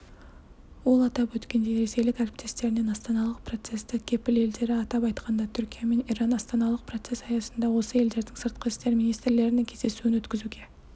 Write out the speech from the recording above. ол атап өткендей ресейлік әріптестерінен астаналық процестік кепіл-елдері атап айтқанда түркия мен иран астаналық процесс аясында осы елдердің сыртқы істер министрлерінің кездесуін өткізуге